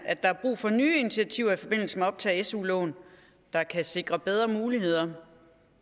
at der er brug for nye initiativer i forbindelse med optag af su lån der kan sikre bedre muligheder